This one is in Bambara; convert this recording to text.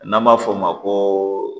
N'an b'a fɔ o ma ko